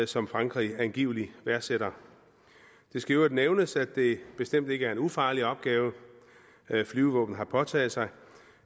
som frankrig angiveligt værdsætter det skal i øvrigt nævnes at det bestemt ikke er en ufarlig opgave flyvevåbnet har påtaget sig